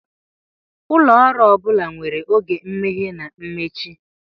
Ụlọ ọrụ ọ bụla nwere oge imeghe na mmechi.